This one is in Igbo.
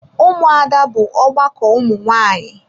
Ụmụada bụ ọgbakọ ụmụ nwanyị.